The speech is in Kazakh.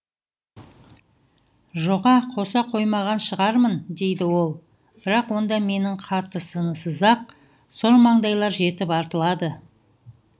жоға қоса қоймаған шығармын дейді ол бірақ онда менің қатысымсыз ақ сормаңдайлар жетіп артылады